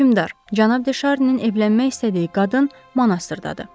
Hökmdar, Cənab De Şarninin evlənmək istədiyi qadın monastırdadır.